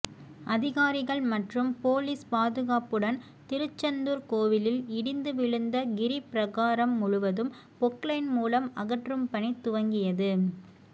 அதிகாரிகள் மற்றும் போலீஸ் பாதுகாப்புடன் திருச்செந்தூர் கோவிலில் இடிந்து விழுந்த கிரிபிரகாரம் முழுவதும் பொக்லைன் மூலம் அகற்றும் பணி துவங்கியது